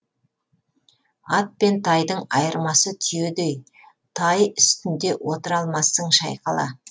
ат пен тайдың айырмасы түйедей тай үстінде отыра алмассың шайқала